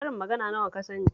Karin magana nawa ka sani